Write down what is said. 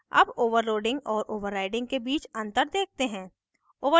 अब overloading और overriding के बीच अंतर देखते हैं